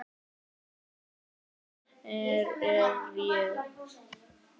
Hver er ég?